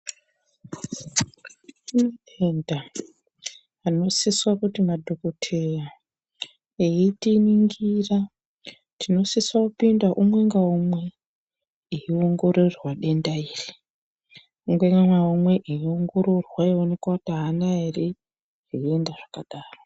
Kune nhenda, anosise kuti madhokoteya eitiningira tinosisa kupinda umwe ngaumwe eiongororwa denda iri. Umwe ngaumwe eiongororwa eionekwa kuti haana ere denda rakadaro.